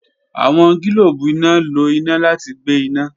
Awọn gilobu ina lo ina lati gbe ina.